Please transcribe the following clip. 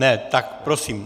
Ne, tak prosím.